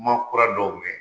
Kuma kura dɔw mɛn